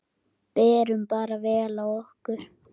Berum bara vel á okkur.